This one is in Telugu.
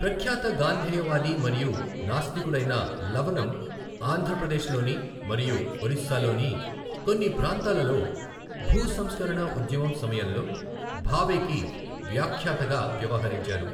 ప్రఖ్యాత గాంధేయవాది మరియు నాస్తికుడైన లవనం ఆంధ్ర ప్రదేశ్లోని మరియు ఒరిస్సాలోని కొన్ని ప్రాంతాలలో భూసంస్కరణ ఉద్యమం సమయంలో భావేకి వ్యాఖ్యాతగా వ్యవహరించారు.